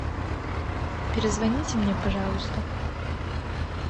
перезвоните мне пожалуйста